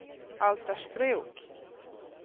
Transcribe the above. Altersbruk